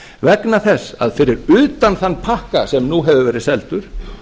vegna þess að fyrir utan þann pakka sem nú hefur verið seldur